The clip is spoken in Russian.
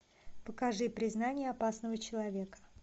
покажи признание опасного человека